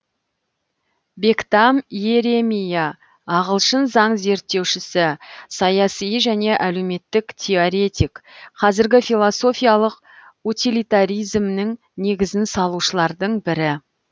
бектам иеремия ағылшын заң зерттеушісі саяси және әлеуметтік теоретик қазіргі философиялық утилитаризмнің негізін салушылардың бірі